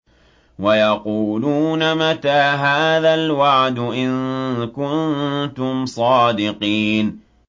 وَيَقُولُونَ مَتَىٰ هَٰذَا الْوَعْدُ إِن كُنتُمْ صَادِقِينَ